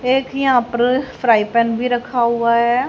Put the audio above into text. एक यहां पर फ्राई पैन भी रखा हुआ है।